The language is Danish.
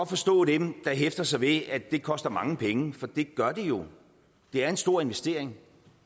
forstå dem der hæfter sig ved at det koster mange penge for det gør det jo det er en stor investering